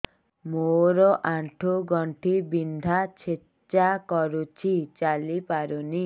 ମୋର ଆଣ୍ଠୁ ଗଣ୍ଠି ବିନ୍ଧା ଛେଚା କରୁଛି ଚାଲି ପାରୁନି